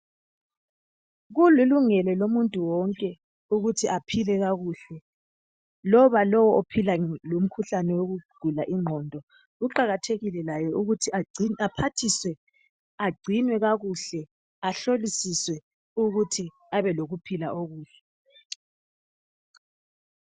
Kulilungelo lomuntu wonke ukuthi aphile kakuhle loba lowu ophila lomkhuhlane wokugula ingqondo, kuqakathekile laye ukuthi aphathiswe, agcinwe kakuhle laye ahlolisiswe ukuthi abe lokuphila kakuhle.